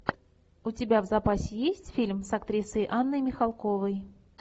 у тебя в запасе есть фильм с актрисой анной михалковой